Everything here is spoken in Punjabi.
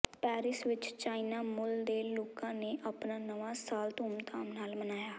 ਪੈਰਿਸ ਵਿੱਚ ਚਾਇਨਾ ਮੁਲ ਦੇ ਲੋਕਾ ਨੇ ਆਪਣਾ ਨਵਾਂ ਸਾਲ ਧੂਮ ਧਾਮ ਨਾਲ ਮਨਾਇਆ